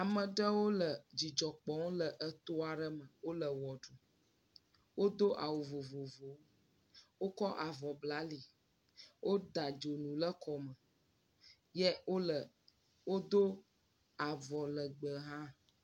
Ame aɖewo le dzidzɔ kpɔm le eto aɖe me wole wɔ ɖum. Wodo awu vovovowo. Wokɔ avɔ bla ali. Woda dzonu ɖe kɔme eye wodo avɔ legbe hã.